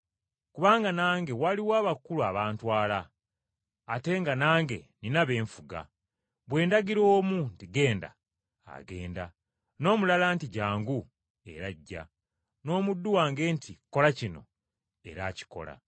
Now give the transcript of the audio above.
Kubanga nange waliwo abakulu abantwala, ate nga nange nnina be nfuga. Bwe ndagira omu nti, ‘Genda,’ agenda, n’omulala nti, ‘Jjangu,’ era ajja, n’omuddu wange nti, ‘Kola kino,’ akikola.”